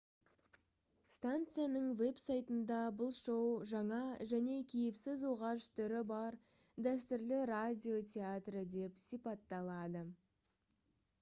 станцияның веб-сайтында бұл шоу «жаңа және кейіпсіз оғаш түрі бар дәстүрлі радио театры» деп сипатталады